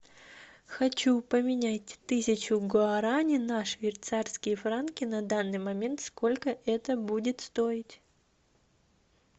хочу поменять тысячу гуарани на швейцарские франки на данный момент сколько это будет стоить